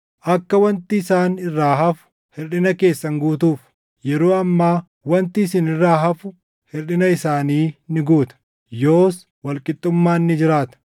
Akka wanti isaan irraa hafu hirʼina keessan guutuuf, yeroo ammaa wanti isin irraa hafu hirʼina isaanii ni guuta. Yoos wal qixxummaan ni jiraata;